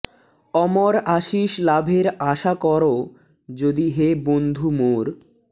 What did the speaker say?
অমর আশিস লাভের আশা কর যদি হে বন্ধু মোর